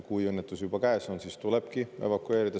Kui õnnetus juba käes on, siis tulebki evakueerida.